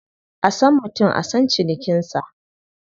A san mutum a san cinikinsa.